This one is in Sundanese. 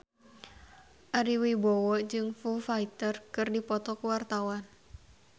Ari Wibowo jeung Foo Fighter keur dipoto ku wartawan